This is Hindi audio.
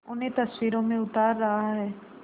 उन्हें तस्वीरों में उतार रहा है